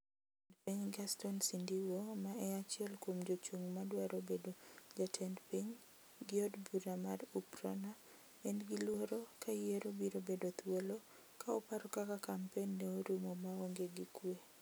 Jalup jatend piny Gaston Sindiwo ma e achiel kuom jochung' madwaro bedo jatend ping gi od bura mar UPRONA en gi luoro ka yiero biro bedo thuolo ka oparo kaka kampen ne orumo maonge gi kuwe.